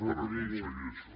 per aconseguir això